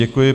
Děkuji.